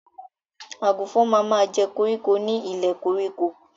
Àgùnfọn ma ma jẹ́ koríko ni ilẹ̀ koríko.